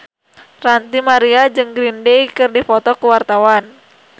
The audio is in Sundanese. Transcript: Ranty Maria jeung Green Day keur dipoto ku wartawan